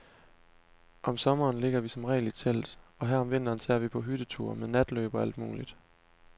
Om sommeren ligger vi som regel i telt, og her om vinteren tager vi på hytteture, med natløb og alt muligt.